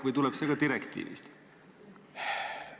Või tuleneb see ka direktiivist?